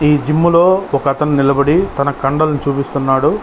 ఈ జిం లో ఒక అతను నిలబడి తన కండలు చూపిస్తున్నాడు.